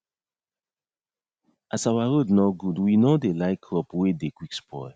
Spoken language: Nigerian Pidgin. as our road nor good w nor dey like crop wey dey qick spoil